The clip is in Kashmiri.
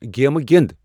گیمہٕ گِند ۔